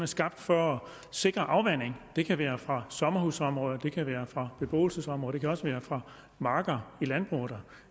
skabt for at sikre afvanding det kan være fra sommerhusområder det kan være fra beboelsesområder det kan også være fra marker i landbruget